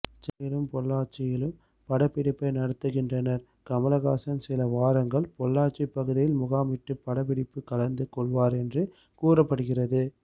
சென்னையிலும் பொள்ளாச்சியிலும் படப்பிடிப்பை நடத்துகின்றனர் கமலஹாசன் சில வாரங்கள் பொள்ளாச்சி பகுதியில் முகாமிட்டு படப்பிடிப்பு கலந்து கொள்வார் என்று கூறப்படுகிறது